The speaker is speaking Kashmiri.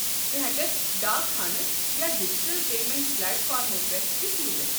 ژٕ ہٮ۪ککھ ڈاک خانہٕ یا ڈجٹل پیمنٛٹ پلیٹفارمو پٮ۪ٹھٕ تہِ سوُزِتھ ۔